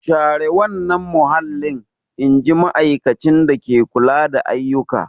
Share wannan mahallin! In ji ma'aikacin dake kula da ayyuka.